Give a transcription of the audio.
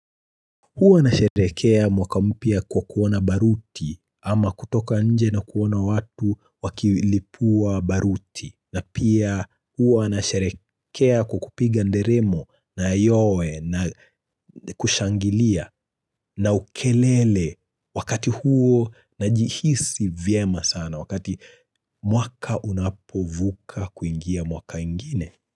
Huwa nasherehekea mwaka mpya kwa kuwa na baruti, ama kutoka nje na kuona watu wakilipua baruti, na pia huwa nasherehekea kwa kupiga nderemo na yowe na kushangilia. Na ukelele wakati huo najihisi vyema sana wakati mwaka unapovuka kuingia mwaka ingine.